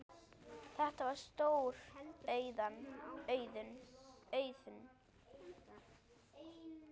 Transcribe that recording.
Þetta var stór auðn.